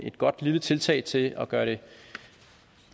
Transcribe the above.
et godt lille tiltag til at gøre det